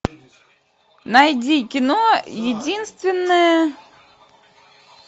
найди кино единственная